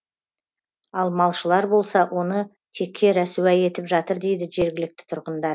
ал малшылар болса оны текке рәсуа етіп жатыр дейді жергілікті тұрғындар